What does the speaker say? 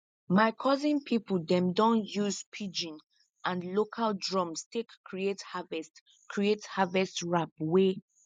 my cousin people dem don use pidgin and local drums take create harvest create harvest rap wey